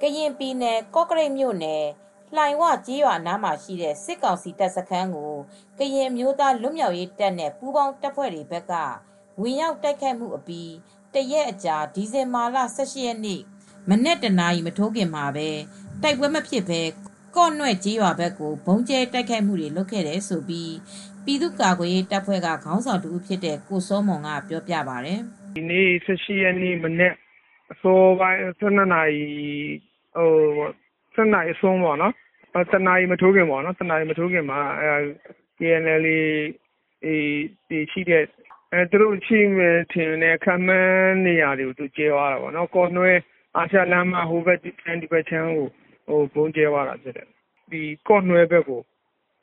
ကရင်ပြည်နယ် ကော့ကရိတ်မြို့နယ် လှိုင်၀ ကျေးရွာ အနားမှာရှိတဲ့ စစ်ကောင်စီတပ်စခန်းကို ကရင်အမျိုးသား လွတ်မြောက်ရေးတပ်နဲ့ ပူးပေါင်းတပ်ဖွဲ့တွေ ဘက်က ဝင်ရောက်တိုက်ခိုက်မှု အပြီး တရက်အကြာ ဒီဇင်ဘာလ ၁၈ ရက်နေ့ မနက် တနာရီ မထိုးခင်မှာ တိုက်ပွဲမဖြစ်ဘဲ ကော့နွဲ့ကျေးရွာဘက်ကို ဗုံးကြဲတိုက်ခိုက်မှုတွေ လုပ်ခဲ့တယ်လို့ ပြည်သူ့ကာကွယ်ရေးတပ်ဖွဲ့က ကိုစောမွန်က ပြောပြပါတယ်။ “ ဒီနေ ၁၈ ရက်နေ့ မနက် အစောပိုင်း ၁၂ နာရီ အစွန်း ၁ နာရီမထိုးခင်မှာ KNLA ရှိနိုင်မယ်ထင်တဲ့ နေရာကို ဗုံးကြဲသွားတာပေါ့နော်။ ကော့နွဲ့ ကျေးရွာ အာရှလမ်း ဟိုဘက် ဒီဘက်လမ်းတွေကို ဗုံးကြဲသွားတာပေါ့နော်။ ကော့နွဲ့ဘက်ကို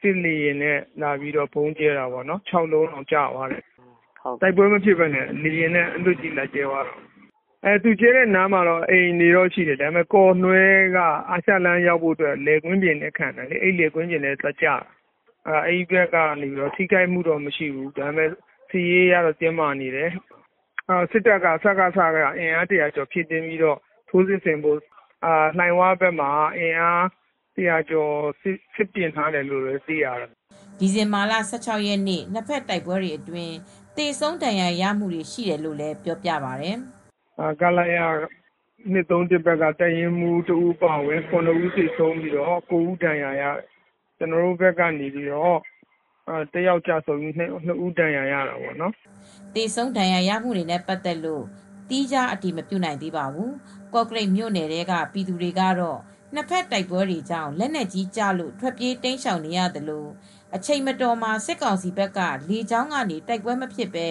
စစ်လေယာဉ်နဲ့လာကြဲတာ ၆လုံးကျသွားတယ်။ တိုက်ပွဲမဖြစ်ဘဲ အလွတ်ကြီး လာကြဲသွားတာပေါ့နော်။ သူကြဲသွားတဲ့ နေရာမှာတော့ အိမ်တွေရှိတယ်။ ကော့နွဲ့ရွာကိုရောက်ဖို့က အာရှလမ်းမှာ လယ်ကွင်းတွေ ခံနေတော့ လယ်ကွင်းတွေဘက်ကိုသွားကျတယ်။ အဲဒီဘက်က ထိခိုက်မှုတော့ မရှိဘူး။ စစ်ရေးအရ တင်းမားနေတယ်။ စစ်ကောင်စီဘက်က လှိုင်ဝဘက်မှာ အင်အား ၁၀၀ ကျော်နဲ့ စစ်ပြင်နေတယ်လို့ သိရပါတယ်။” ဒီဇင်ဘာလ ၁၆ ရက်နေ့က နှစ်ဖက်တိုက်ပွဲတွေအတွင်း သေဆုံဒဏ်ရာရမှု ရှိတယ်လို့လည်း ပြောပါတယ်။ “ ခလရ ၂၃၁ ဘက်က ၇ ဦးသေဆုံးပြီး ၉ဦးဒဏ်ရာရတယ်။ ကျနော်တို့ဘက်ကလည်း တယောက်ကျဆုံးပြီး နှစ်ဦးဒဏ်ရာရတာပေါ့နော်။ ” သေဆုံး ဒဏ်ရာရမှုတွေနဲ့ ပတ်သက်လို့တော့ သီးခြား အတည်မပြုနိုင်ပါဘူး။ ကော့ကရိတ်မြို့နယ်ထဲက ပြည်သူတွေကတော့ နှစ်ဖက်တိုက်ပွဲတွေကြောင့် လက်နက်ကြီးတွေကျလို့ထွက်ပြေးတိမ်းရှောင် နေရသလို အချိန်မတော်မှာ စစ်ကောင်စီဘက်က လေကြောင်းကနေ တိုက်ပွဲမဖြစ်ဘဲ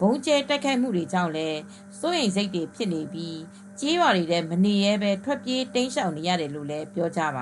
ဗုံးကြဲတိုက်ခိုက်မူတွေကြောင့်လည်း စိုးရိမ်စိတ်တွေ ဖြစ်နေပြီး ကျေးရွာတွေထဲ မနေရဲဘဲ ထွက်ပြေးတိမ်းရှောင်နေရတယ်လို့လည်း ပြောကြပ